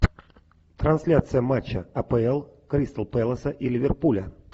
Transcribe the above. трансляция матча апл кристал пэласа и ливерпуля